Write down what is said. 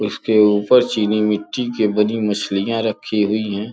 उसके ऊपर चीनी मिट्टी के बनी मछलियां रखी हुई है।